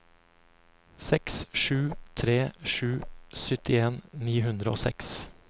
seks sju tre sju syttien ni hundre og seks